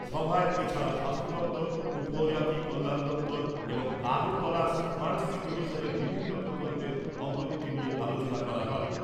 সভায় এছাড়াও স্বাস্থ্য দপ্তর , উপজাতি কল্যাণ দপ্তর এবং আগরতলা স্মার্ট সিটি মিশনের বিভিন্ন প্রকল্পের অগ্রগতি নিয়ে আলোচনা করা হয় ।